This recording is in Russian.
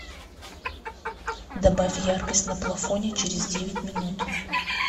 добавь яркость на плафоне через девять минут